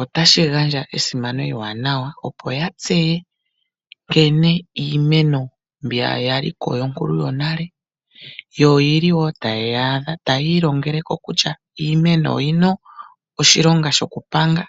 otashi gandja esimano ewanawa opo ya tseye nkene iimeno mbi ya li ko yonkulu yonale, yo oyi li wo taye yaadha tayiilongele ko kutya iimeno oyi na oshilonga shokupanga